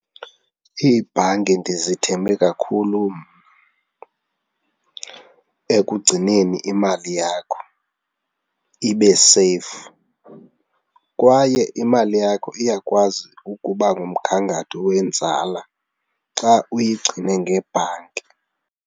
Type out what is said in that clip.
Iibhanki ndizithembe kakhulu ekugcineni imali yakho, ibe seyifu kwaye imali yakho iyakwazi ukuba ngumgangatho wenzala xa uyigcine ngebhanki.